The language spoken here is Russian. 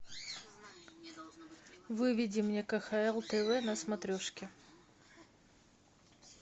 выведи мне кхл тв на смотрешке